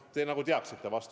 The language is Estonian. Te nagu teaksite vastust.